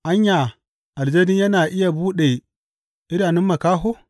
Anya, aljani yana iya buɗe idanun makaho?